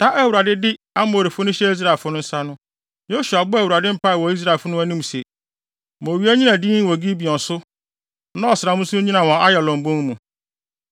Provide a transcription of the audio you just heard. Da a Awurade de Amorifo no hyɛɛ Israelfo no nsa no, Yosua bɔɔ Awurade mpae wɔ Israelfo no anim se, “Ma owia nnyina dinn wɔ Gibeon so na ɔsram nso nnyina wɔ Ayalon bon mu.”